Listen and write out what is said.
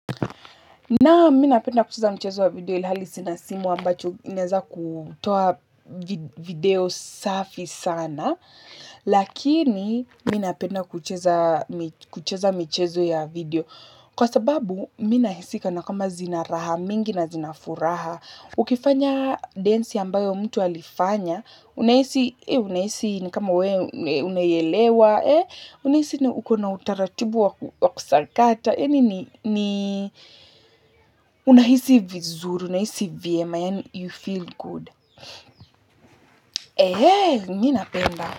Naam mimi napenda kucheza mchezo wa video ilhali sina simu ambacho inaeza kutoa video safi sana. Lakini mimi napenda kucheza mchezo ya video. Kwa sababu mimi nahisi kana kwamba zina raha, mingi na zina furaha. Ukifanya densi ambayo mtu alifanya. Unahisi ni kama wewe unaielewa. Unahisi ni ukona utaratubu wa kusakata. Unahisi vizuri, unahisi vyema yaani you feel good, mimi napenda.